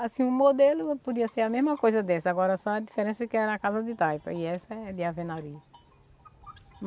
Assim, o modelo podia ser a mesma coisa dessa, agora só a diferença é que era a casa de taipa e essa é de alvenaria.